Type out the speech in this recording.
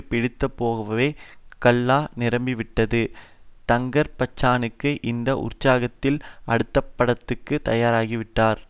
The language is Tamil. பிடித்துப்போகவே கல்லா நிரம்பி விட்டது தங்கர்பச்சானுக்கு இந்த உற்சாகத்தில் அடுத்தப்படத்துக்கு தயாராகிவிட்டார்